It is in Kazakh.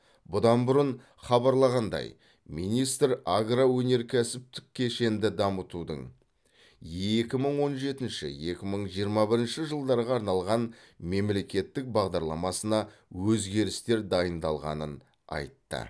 бұдан бұрын хабарлағандай министр агроөнеркәсіптік кешенді дамытудың екі мың он жетінші екі мың жиырма бірінші жылдарға арналған мемлекеттік бағдарламасына өзгерістер дайындалғанын айтты